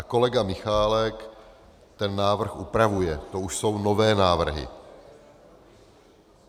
A kolega Michálek ten návrh upravuje, to už jsou nové návrhy.